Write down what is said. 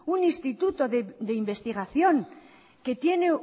un instituto de investigación que tiene